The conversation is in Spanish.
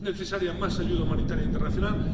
Es necesaria más ayuda humanitaria internacional.